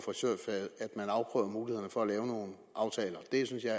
frisørfaget afprøver mulighederne for at lave nogle aftaler det synes jeg